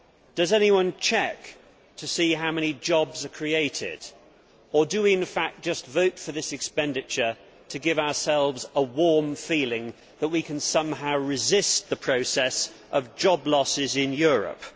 Does anyone check to see how many jobs are created or do we in fact just vote for this expenditure to give ourselves a warm feeling that we can somehow resist the process of job losses in Europe?